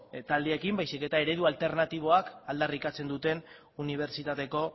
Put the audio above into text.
taldeekin baizik eta eredu alternatiboak aldarrikatzen duten unibertsitateko